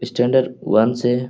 standard one से --